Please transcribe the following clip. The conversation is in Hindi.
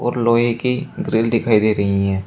और लोहे की ग्रिल दिखाई दे रही है।